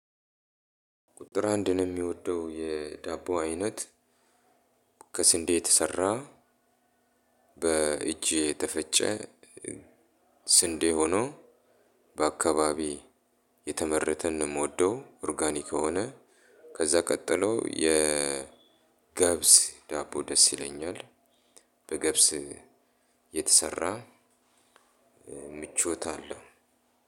ቁጥር አንድ እኔ የሚወደው የዳቦ አይነት ከስንዴ የተሰራ በእጅ የተፈጨ ስንዴ ሆኖ በአካባቢ የተመረተን ነው የምወደው ኦርጋኒክ የሆነ ከዛ ቀጥሎ የ ገብስ ዳቦ ደስ ይለኛል በገብስ የተሰራ። ምቾት አለው።